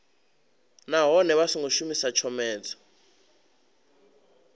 nahone vha songo shumisa tshomedzo